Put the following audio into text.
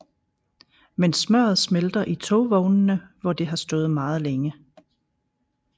Men smøret smelter i togvognene hvor det har stået meget længe